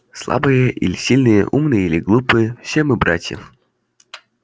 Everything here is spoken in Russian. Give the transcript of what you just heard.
слабые или сильные умные или глупые все мы братья